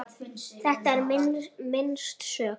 Þetta er minnst sök.